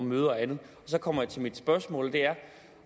møder og andet så kommer jeg til mit spørgsmål og det er